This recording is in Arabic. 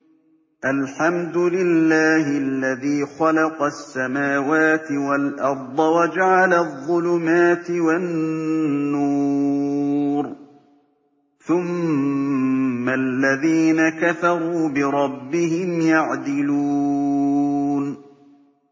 الْحَمْدُ لِلَّهِ الَّذِي خَلَقَ السَّمَاوَاتِ وَالْأَرْضَ وَجَعَلَ الظُّلُمَاتِ وَالنُّورَ ۖ ثُمَّ الَّذِينَ كَفَرُوا بِرَبِّهِمْ يَعْدِلُونَ